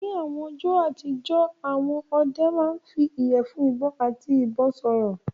Ní àwọn ọjọ́ àtijọ́, àwọn ọdẹ máa ń fi ìyẹ̀fun ìbọn àti ìbọn sọ̀rọ̀.